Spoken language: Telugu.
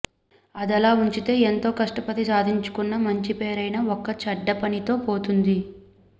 అదలా ఉంచితే ఎంతో కష్టపడి సాధించుకున్న మంచిపేరైనా ఒక్క చెడ్డపనితో పోతుంది